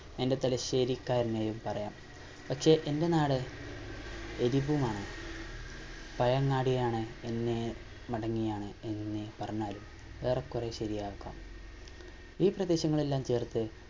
എന്റെ തലശ്ശേരിക്കാരനായും പറയാം പക്ഷെ എന്റെ നാട് ആണ് പയങ്ങാടിയാണ് എന്നെ എങ്ങനെ പറഞ്ഞാലും ഏറെ കൊറേ ശെരിയാക്കാം ഈ പ്രദേശങ്ങളെല്ലാം ചേർത്ത്